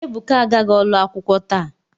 Ebuka agaghi olu akwukwo ta.